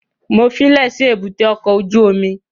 Mo fílẹ̀ sí èbúté ọkọ̀ ojú omi